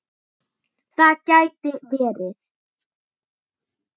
Það gæti verið